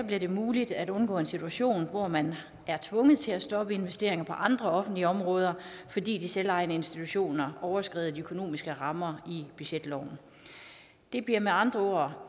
bliver det muligt at undgå en situation hvor man er tvunget til at stoppe investeringer på andre offentlige områder fordi de selvejende institutioner overskrider de økonomiske rammer i budgetloven det bliver med andre